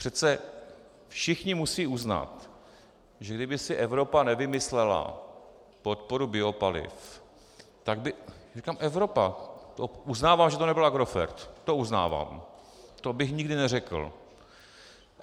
Přece všichni musí uznat, že kdyby si Evropa nevymyslela podporu biopaliv, tak by, říkám Evropa, uznávám, že to nebyl Agrofert, to uznávám, to bych nikdy neřekl.